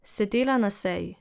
Sedela na seji.